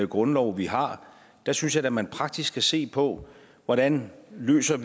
grundlov vi har har synes jeg da man praktisk skal se på hvordan vi løser